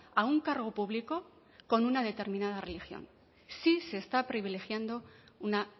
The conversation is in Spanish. a un cargo público con una determinada religión sí se está privilegiando una